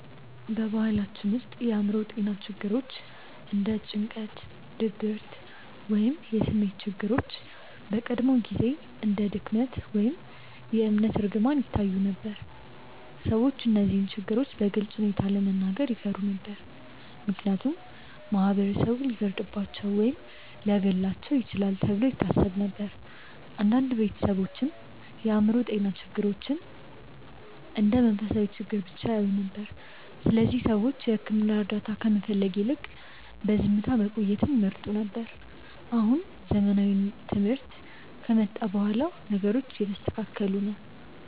በባህላችን ውስጥ የአእምሮ ጤና ችግሮች እንደ ጭንቀት፣ ድብርት ወይም የስሜት ችግሮች በቀድሞ ጊዜ እንደ ድክመት ወይም የእምነት እርግማን ይታዩ ነበር። ሰዎች እነዚህን ችግሮች በግልፅ ሁኔታ ለመናገር ይፈሩ ነበር፣ ምክንያቱም ማህበረሰቡ ሊፈርድባቸው ወይም ሊያገለልባቸው ይችላል ተብሎ ይታሰብ ነበር። አንዳንድ ቤተሰቦችም የአእምሮ ጤና ችግሮችን እንደ መንፈሳዊ ችግር ብቻ ያዩ ነበር፣ ስለዚህ ሰዎች የሕክምና እርዳታ ከመፈለግ ይልቅ በዝምታ መቆየትን ይመርጡ ነበር። አሁን ዘመናዊ ትምህርት ከመጣ በኋላ ነገሮቹ እየተስተካከሉ ነው።